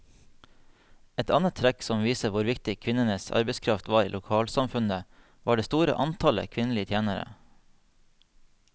Et annet trekk som viser hvor viktig kvinnenes arbeidskraft var i lokalsamfunnet, var det store antallet kvinnelige tjenere.